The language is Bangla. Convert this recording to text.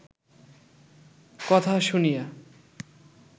কথা শুনিয়া